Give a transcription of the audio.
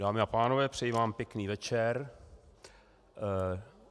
Dámy a pánové, přeji vám pěkný večer.